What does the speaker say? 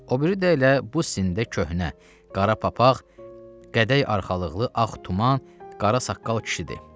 O biri də elə bu sində köhnə, qara papaq, qədəy arxalıqlı ağ tuman, qara saqqal kişidir.